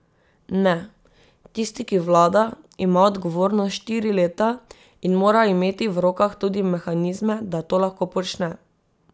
Ne, tisti, ki vlada, ima odgovornost štiri leta in mora imeti v rokah tudi mehanizme, da to lahko počne.